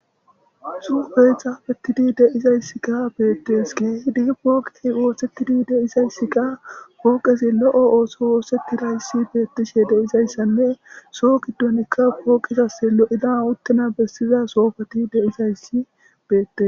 Xuufe xafetidi deizayssi ka beettes ge hidi pooqii woosettidi deizayssika pooqezi lo7o ooso woosettirayssi beettishe deizayssanne soo giddonikka pooqezase lo7ida utena bessiza soofati deizayssi beette.